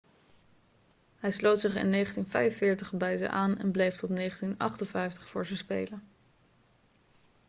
hij sloot zich in 1945 bij ze aan en bleef tot 1958 voor ze spelen